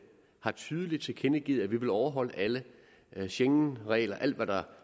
har tydeligt tilkendegivet at vi vil overholde alle alle schengenregler alt hvad der